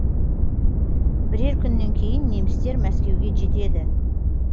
бірер күннен кейін немістер мәскеуге жетеді